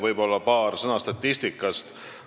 Võib-olla paar sõna statistikast.